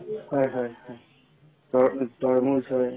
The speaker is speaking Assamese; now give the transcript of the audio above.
হয় হয় হয় তৰমুজ হয়